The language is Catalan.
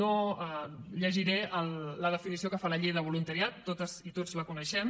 no llegiré la definició que fa la llei de voluntariat totes i tots la coneixem